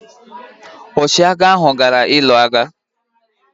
Ọchịagha ahụ gara ịlụ agha.